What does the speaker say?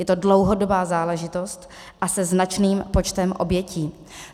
Je to dlouhodobá záležitost a se značným počtem obětí.